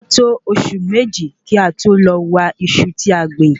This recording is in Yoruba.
A to Oṣù Méjì kí a tó lọ wa Iṣu tí a gbìn